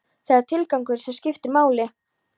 Það er tilgangurinn sem skiptir máli.